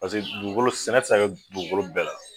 Paseke dugukolo sɛnɛ ti se ka kɛ dugukolo bɛɛ la.